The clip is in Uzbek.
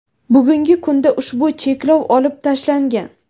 Bugungi kunda ushbu cheklov olib tashlangan.